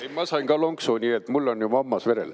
Jaa, ma sain ka lonksu, nii et mul on juba hammas verel.